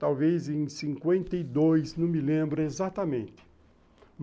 Talvez em cinquenta e dois, não me lembro exatamente.